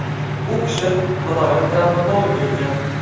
U kishi viloyat travmatologi ekan.